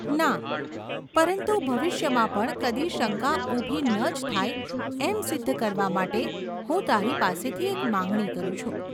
‘ના. પરંતુ ભવિષ્યમાં પણ કદી શંકા ઊભી ન જ થાય, એમ સિદ્ધ કરવા માટે હું તારી પાસેથી એક માંગણી કરું છું.